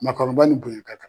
Maakɔrɔba ni bonya ka kan.